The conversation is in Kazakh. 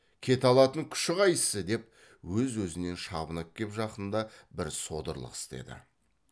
кете алатын күші қайсы деп өз өзінен шабынып кеп жақында бір содырлық істеді